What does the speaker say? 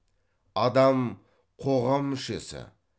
адам қоғам мүшесі